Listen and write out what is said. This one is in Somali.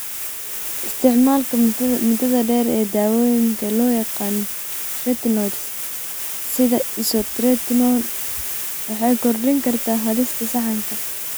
Isticmaalka muddada dheer ee daawooyinka loo yaqaan retinoids (sida isotretinoin) waxay kordhin kartaa halista saxanka.